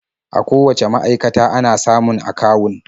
A kowacce ma'aikata ana samun akawun.